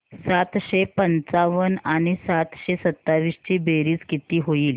सातशे पंचावन्न आणि सातशे सत्तावीस ची बेरीज किती होईल